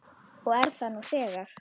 Og er það nú þegar.